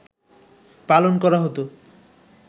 পালন করা হত